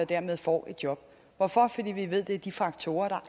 dermed får et job hvorfor fordi vi ved at det er de faktorer